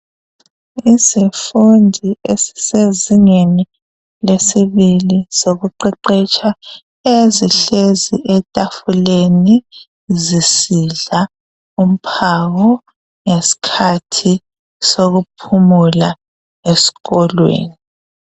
Izifundi esisezingeni lesibili lokuqeqetsha zihlezi etafuleni zisidla umphako ngeskhathi sokuphumula eskolweni.